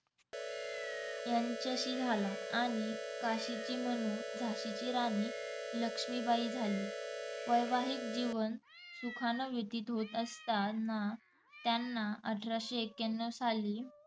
यांच्याशी झाला. आणि काशीची मनू झाशीची राणी लक्ष्मीबाई झाली. वैवाहिक जीवन सुखाने व्यतीत होत असताना त्यांना अठराशे एक्याणव साली